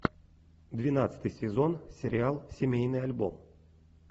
двенадцатый сезон сериал семейный альбом